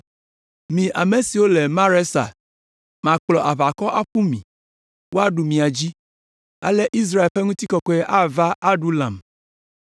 Mi ame siwo le Maresa, makplɔ aʋakɔ aƒu mi, woaɖu mia dzi, ale Israel ƒe ŋutikɔkɔe ava Adulam.